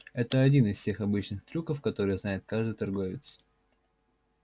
это один из тех обычных трюков которые знает каждый торговец